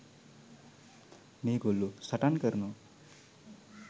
මේගොල්ලෝ සටන් කරනවා.